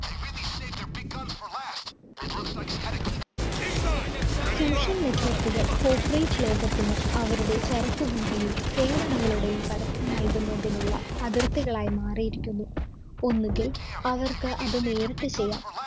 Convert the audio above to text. social network കള്‍ corporate ലോകത്തിന് അവരുടെ ചരക്കുകളുടെയും, സേവനങ്ങളുടേയും പരസ്യം നല്‍കുന്നതിനുള്ള അതിര്‍ത്തികളായി മാറിയിരിക്കുന്നു. ഒന്നുകില്‍ അവര്‍ക്ക് അത് നേരിട്ട് ചെയ്യാം